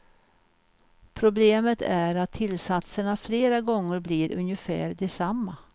Problemet är att tillsatserna flera gånger blir ungefär desamma.